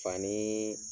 Fani